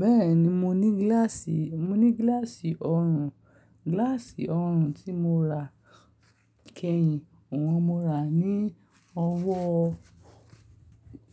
Bẹ́ẹ̀ni, mo ní gíláàsì, mo ní gíláàsì ọrùn. Gíláàsì ọrùn tí mo rà kẹ́yìn, òun mo rà á ní ọwọ́